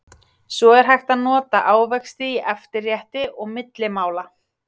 Svo er hægt að nota ávexti í eftirrétti og milli mála.